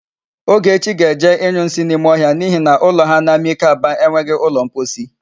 Ogechi ga-eje ịnyụ nsị n'ime ọhịa n'ihi na ụlọ ha n'Amike Aba enweghị ụlọmposi.